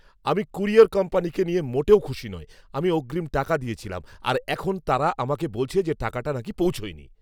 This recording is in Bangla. আমি ক্যুরিয়র কোম্পানিকে নিয়ে মোটেও খুশি নই। আমি অগ্রিম টাকা দিয়েছিলাম, আর এখন তারা আমাকে বলছে যে টাকাটা নাকি পৌঁছায়নি!